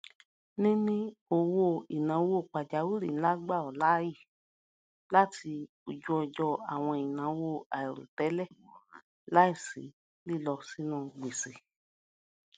níní owóìnáwó pàjáwìrì ńlá gbà ọ láàyè láti oju ojo àwọn ináwó àìròtẹlẹ láìsí lilọ sínú gbèsè